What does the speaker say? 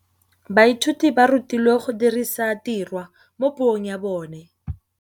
Baithuti ba rutilwe go dirisa tirwa mo puong ya bone.